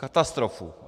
Katastrofu.